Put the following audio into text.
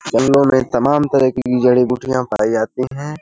जंगलों में तमाम तरह की जड़ी बूटियां पाई जाती हैं ।